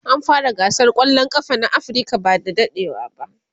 an fara gasar kwallan kafa na Africa by da dadewa